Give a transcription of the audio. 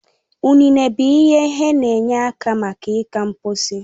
Ụnene bụ ihe he n'enye aka maka iga mposi